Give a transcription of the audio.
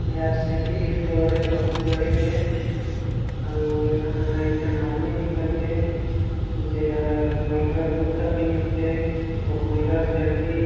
एहर cycle store ए बहुत बड़े के अउ ए तहा एक झन आदमी दिखत हे जेहर पर्रा कुर्ता पेनधीस हे अउ पर्रा चड्डी--